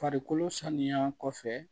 Farikolo sanuya kɔfɛ